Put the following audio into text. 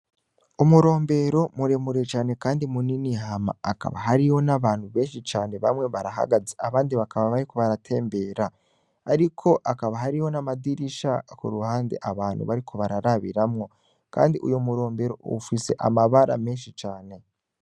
Umurombero muremure cane, kandi munini hama akaba hariyo n' abantu benshi cane bamwe barahagaze abandi bakaba bariko baratembera, ariko akaba hariho n'amadirisha ku ruhande abantu bariko bararabiramwo, kandi uyo murombero ufise amabara menshi cane.